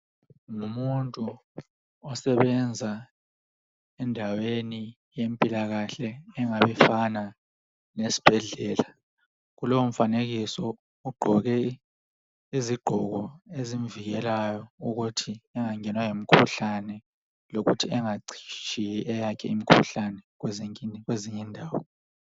ngumuntu osebenza endaweni yempilakahle engabe ifana lesibhedlela kulo mfanekiso ugqoke izigqoko ezimvikelayo ukuthi angangenwa yimkhuhlane lokuthi engatshiyi eyakhe imikhuhlane kwezinye indawo